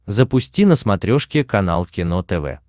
запусти на смотрешке канал кино тв